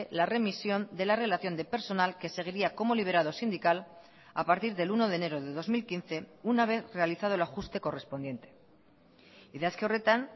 la remisión de la relación de personal que seguiría como liberado sindical a partir del uno de enero de dos mil quince una vez realizado el ajuste correspondiente idazki horretan